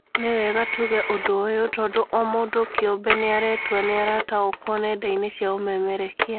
Nĩwega tũge ũndũ ũyũ tondũ omũndũ kĩũmbe nĩaretua nĩarataũkwo nenda-inĩ cia ũmemerekia